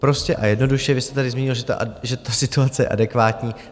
Prostě a jednoduše, vy jste tady zmínil, že ta situace je adekvátní.